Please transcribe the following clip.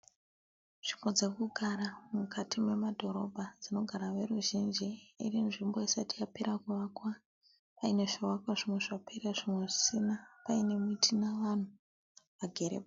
Nzvimbo dzekugara mukati memadhorobha dzinogara veruzhinji iri nzvimbo isati yapera kuvakwa paine zvivakwa zvimwe zvapera zvimwe zvisina Paine miti nevanhu vagere.